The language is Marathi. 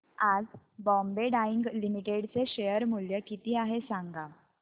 आज बॉम्बे डाईंग लिमिटेड चे शेअर मूल्य किती आहे सांगा